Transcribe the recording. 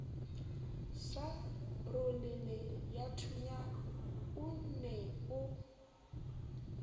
sa roleleyathunya o ne o